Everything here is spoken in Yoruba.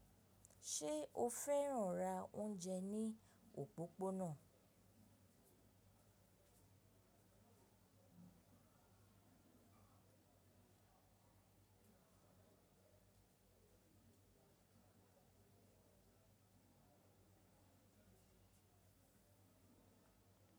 Ṣé o fẹ́ràn ra oúnjẹ ní òpópónà?